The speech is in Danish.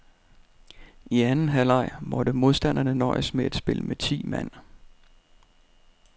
I anden halvleg måtte modstanderne nøjes med at spille med ti mand.